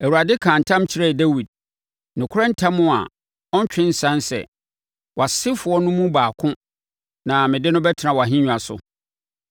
Awurade kaa ntam kyerɛɛ Dawid, nokorɛ ntam a ɔrentwe nsane sɛ, “Wʼasefoɔ no mu baako na mede no bɛtena wʼahennwa so.